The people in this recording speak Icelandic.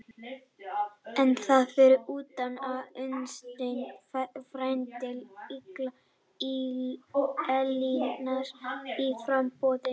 En þar fyrir utan er Unnsteinn, frændi Elínar, í framboði.